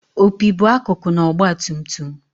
opi bụ akụkụ na ọgbatumtum